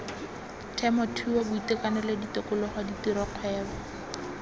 temothuo boitekanelo tikologo ditiro kgwebo